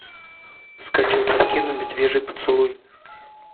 скачай картину медвежий поцелуй